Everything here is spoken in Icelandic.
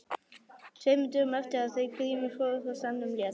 Tveimur dögum eftir að þau Grímur fóru frá staðnum lét